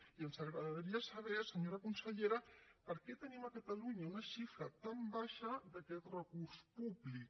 i ens agradaria saber senyora consellera per què tenim a catalunya una xifra tan baixa d’aquest recurs públic